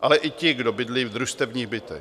ale i ti, kdo bydlí v družstevních bytech.